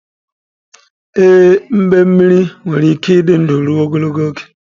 Ee, mbemmiri nwere ike ịdị ndụ ruo ogologo oge.